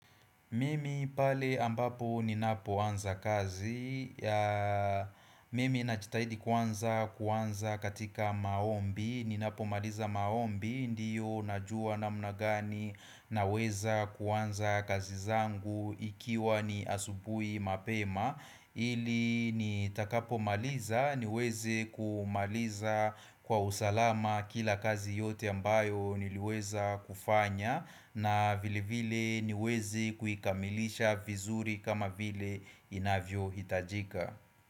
Mimi pale ambapo ninapo anza kazi. Mimi najitahidi kwanza kuanza katika maombi. Ninapomaliza maombi ndiyo najua namna gani naweza kuanza kazi zangu ikiwa ni asubuhi mapema. Ili nitakapo maliza niweze kumaliza kwa usalama kila kazi yote ambayo niliweza kufanya na vile vile niwezi kuikamilisha vizuri kama vile inavyohitajika.